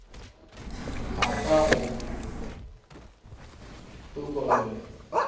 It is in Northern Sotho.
a ka ga a ntokolle